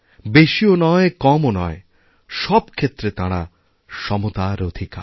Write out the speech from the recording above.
বেশিও নয় কমও নয় সব ক্ষেত্রে তাঁরা সমতার অধিকারী